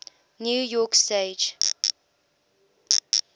new york stage